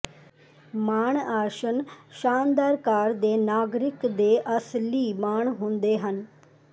ਮਾਣ ਆਸਣ ਸ਼ਾਨਦਾਰ ਕਾਰ ਦੇ ਨਾਗਰਿਕ ਦੇ ਅਸਲੀ ਮਾਣ ਹੁੰਦਾ ਹੈ